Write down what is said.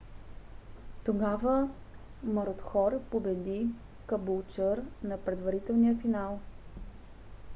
тогава марудхор победи кабулчър на предварителния финал